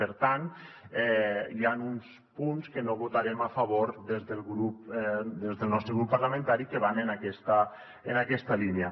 per tant hi han uns punts que no hi votarem a favor des del nostre grup parlamentari que van en aquesta línia